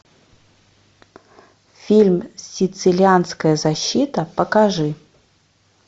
фильм сицилианская защита покажи